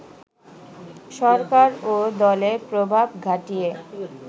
সরকার ও দলের প্রভাব খাটিয়ে